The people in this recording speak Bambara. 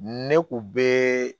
Ne kun be